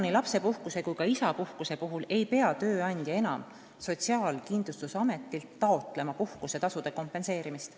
Nii lapsepuhkuse kui ka isapuhkuse puhul ei pea tööandja enam Sotsiaalkindlustusametilt taotlema puhkusetasude kompenseerimist.